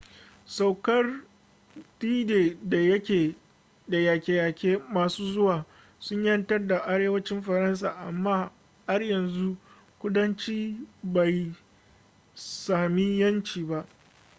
saukar d-day da yaƙe-yaƙe masu zuwa sun 'yantar da arewacin faransa amma har yanzu kudanci bai sami yanci ba